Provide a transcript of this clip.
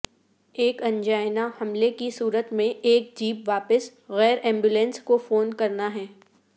ایک ینجائنا حملے کی صورت میں ایک جیب واپس غیر ایمبولینس کو فون کرنا ہے